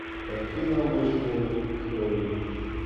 картина мышкины истории